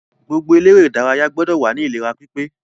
Gbogbo eléré ìdárayá gbọdọ̀ wà ní ìlera pípé.